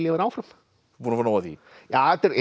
vera áfram búinn að fá nóg af því já